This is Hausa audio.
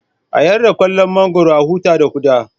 A yarda ƙullon mangwaro, a huta da ƙuda